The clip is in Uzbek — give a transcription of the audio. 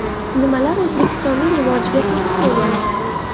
Nimalar O‘zbekistonning rivojiga to‘siq bo‘lyapti?